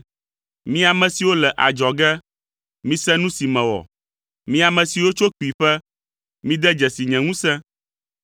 Mi ame siwo le adzɔge, mise nu si mewɔ. Mi ame siwo tso kpuiƒe, mide dzesi nye ŋusẽ!